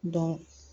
Dɔn